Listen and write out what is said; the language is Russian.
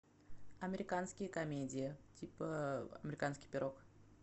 американские комедии типа американский пирог